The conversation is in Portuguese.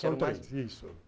São três, isso.